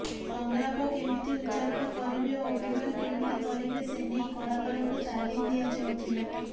ସଂଳାପ କେମିତି ଉଚ୍ଚାରଣ କରିବେ ଓ ଅଭିନୟ କେମିତି କରିବେ ସେ ନେଇ କଳାକାରଙ୍କୁ ତାଲିମ ଦିଆଯାଉଥିଲା